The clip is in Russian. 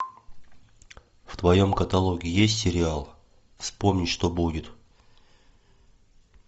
в твоем каталоге есть сериал вспомнить что будет